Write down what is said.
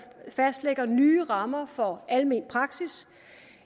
fastlægger nye rammer for almen praksis